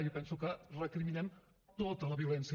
jo penso que recriminem tota la violència